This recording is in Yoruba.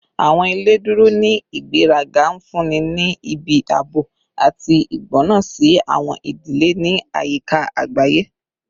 Awọn ile duro ni igberaga, nfunni ni ibi aabo ati igbona si awọn idile ni ayika agbaye